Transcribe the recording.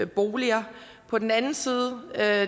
boliger og på den anden side er